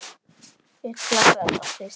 Ugla sat á kvisti.